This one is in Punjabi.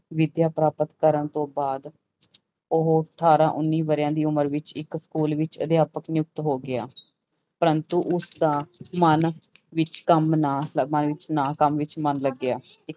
ਵੀਜ਼ਾ ਪ੍ਰਾਪਤ ਕਰਨ ਤੋਂ ਬਾਅਦ ਉਹ ਅਠਾਰਾਂ ਉੱਨੀ ਵਰ੍ਹਿਆਂ ਦੀ ਉਮਰ ਵਿੱਚ ਇੱਕ ਸਕੂਲ ਵਿੱਚ ਅਧਿਆਪਕ ਨਿਯੁਕਤ ਹੋ ਗਿਆ, ਪ੍ਰੰਤੂ ਉਸਦਾ ਮਨ ਵਿੱਚ ਕੰਮ ਨਾ, ਮਨ ਵਿੱਚ ਨਾ ਕੰਮ ਵਿੱਚ ਮਨ ਲੱਗਿਆ।